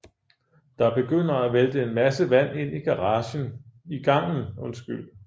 Der begynder at vælte en masse vand ind i gangen